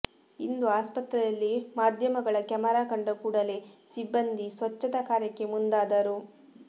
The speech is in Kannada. ಇಂದು ಆಸ್ಪತ್ರೆಯಲ್ಲಿ ಮಾಧ್ಯಮಗಳ ಕ್ಯಾಮೆರಾ ಕಂಡ ಕೂಡಲೇ ಸಿಬ್ಬಂದಿ ಸ್ವಚ್ಛತಾ ಕಾರ್ಯಕ್ಕೆ ಮುಂದಾದರು